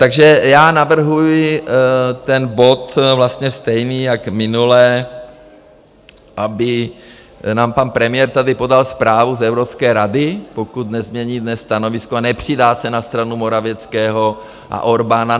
Takže já navrhuji ten bod vlastně stejný jako minule, aby nám pan premiér tady podal zprávu z Evropské rady, pokud nezmění dnes stanovisko a nepřidá se na stranu Morawieckého a Orbána.